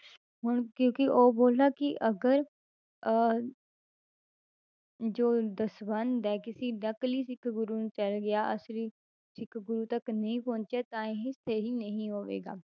ਹੁਣ ਕਿਉਂਕਿ ਉਹ ਬੋਲਾ ਕਿ ਅਗਰ ਅਹ ਜੋ ਦਸਵੰਧ ਹੈ ਕਿਸੇ ਨਕਲੀ ਸਿੱਖ ਗੁਰੂ ਨੂੰ ਚਲੇ ਗਿਆ ਅਸਲੀ ਸਿੱਖ ਗੁਰੂ ਤੱਕ ਨਹੀਂ ਪਹੁੰਚਿਆ ਤਾਂ ਇਹ ਸਹੀ ਨਹੀਂ ਹੋਵੇਗਾ।